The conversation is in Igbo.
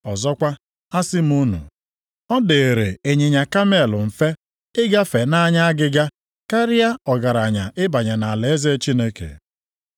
Ọzọkwa, asị m unu, ọ dịịrị ịnyịnya kamel mfe ịgafe nʼanya agịga, karịa ọgaranya ịbanye nʼalaeze Chineke.”